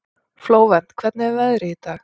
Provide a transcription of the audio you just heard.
Flóvent, hvernig er veðrið í dag?